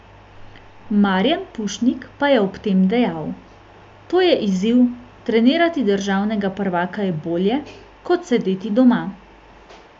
Marijan Pušnik pa je ob tem dejal: 'To je izziv, trenirati državnega prvaka je bolje kot sedeti doma.